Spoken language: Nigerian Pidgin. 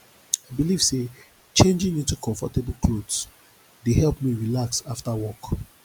i dey believe say changing into comfortable clothes dey help me relax after work